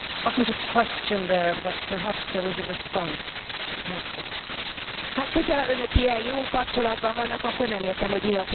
Hát hogyha Önök ilyen jó kapcsolatban vannak, akkor nem értem, hogy mi a probléma a demokráciával, akkor Önök itt a demokráciát tökéletesen gyakorolják.